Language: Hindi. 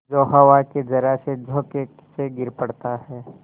जो हवा के जरासे झोंके से गिर पड़ता है